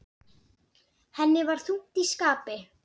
Ég hef fæðst víða.